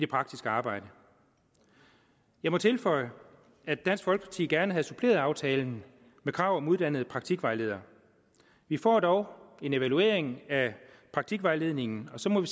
praktiske arbejde jeg må tilføje at dansk folkeparti gerne havde suppleret aftalen med krav om uddannede praktikvejledere vi får dog en evaluering af praktikvejledningen og så må